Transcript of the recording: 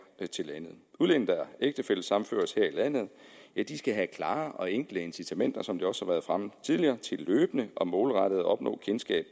til landet udlændinge der ægtefællesammenføres her i landet skal have klare og enkle incitamenter som det også har været fremme tidligere til løbende og målrettet at opnå kendskab